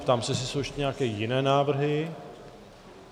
Ptám se, jestli jsou ještě nějaké jiné návrhy.